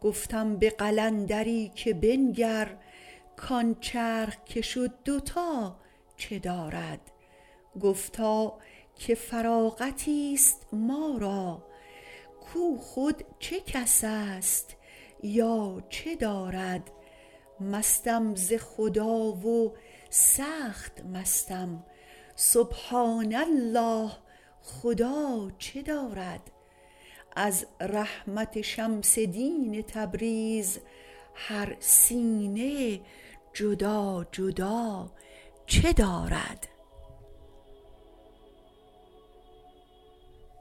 گفتم به قلندری که بنگر کان چرخ که شد دوتا چه دارد گفتا که فراغتیست ما را کو خود چه کس است یا چه دارد مستم ز خدا و سخت مستم سبحان الله خدا چه دارد از رحمت شمس دین تبریز هر سینه جدا جدا چه دارد